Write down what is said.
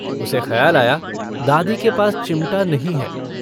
उसे खयाल आया दादी के पास चिमटा नहीं है।